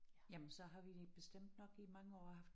Jamen så har vi bestemt nok i mange år haft